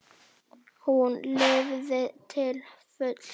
Hún lifði til fulls.